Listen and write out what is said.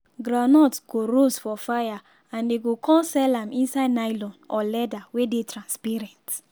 groundnut go roast for fire and dey go con sell am inside nylon or leather wey dey transparent.